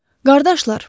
Qardaşlar,